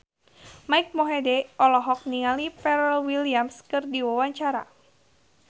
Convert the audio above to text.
Mike Mohede olohok ningali Pharrell Williams keur diwawancara